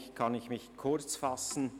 Somit kann ich mich kurzfassen.